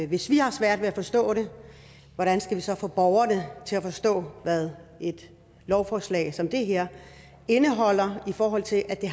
hvis vi har svært ved at forstå det hvordan skal vi så få borgerne til at forstå hvad et lovforslag som det her indeholder i forhold til at det